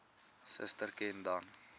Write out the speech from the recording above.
suster ken dan